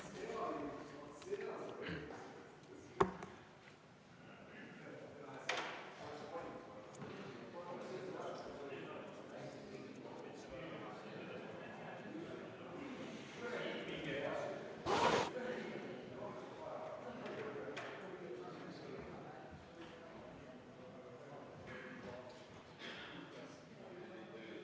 V a h e a e g